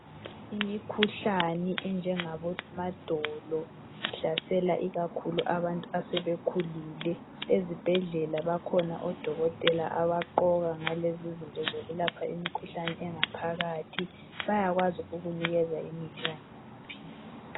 Imikhuhlane enjengabo madolo ihlasela ikakhulu abantu asebekhulile ezibhedlela bakhona odokotela abaqoka ngalezizinto zokulapha imikhuhlane engaphakathi bayakwazi ukukunikeza imithi kanye lamaphilisa